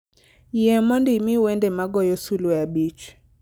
Yie mondo imi wende ma goyo sulwe abich